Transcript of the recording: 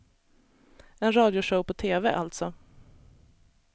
En radioshow på tv, alltså.